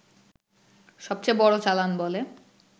সবচেয়ে বড় চালান বলে